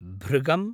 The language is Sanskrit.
भृगम्